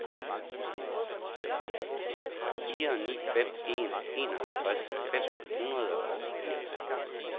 fire ni fem en enoghalvtreds fem hundrede og firs